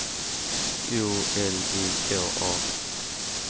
O L I K A